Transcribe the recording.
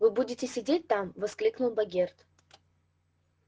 вы будете сидеть там воскликнул богерт